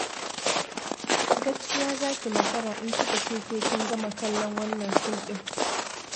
Gaskiya za ki makara in kika ce sai kin gama kallon wannan fim ɗin.